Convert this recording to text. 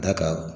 Da ka